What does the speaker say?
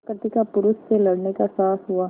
प्रकृति का पुरुष से लड़ने का साहस हुआ